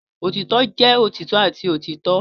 Otitọ jẹ otitọ ati otitọ.